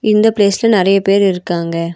இந்த பிளேஸ்ல நறைய பேர் இருக்காங்க.